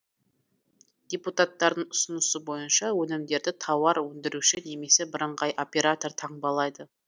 депутаттардың ұсынысы бойынша өнімдерді тауар өндіруші немесе бірыңғай оператор таңбалайды